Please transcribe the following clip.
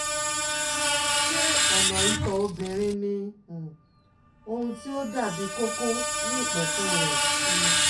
Ṣé ọ̀nà ìtọ̀ obìnrin ní um ohun tí ó dàbí kókó ní ìpẹ̀kun rẹ̀? um